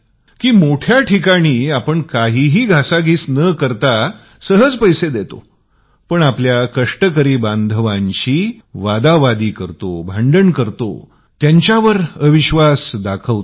आपण मोठ्या ठिकाणी काहीही भाव न करता पेमेंट करतो पण आपल्या कष्टकरी बांधवांशी भांडण करतो त्यांच्यावर अविश्वास दर्शवतो